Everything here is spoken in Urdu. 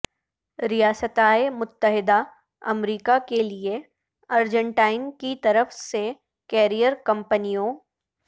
ریاستہائے متحدہ امریکہ کے لئے ارجنٹائن کی طرف سے کیریئر کمپنیوں